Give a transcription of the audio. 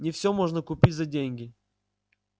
не всё можно купить за деньги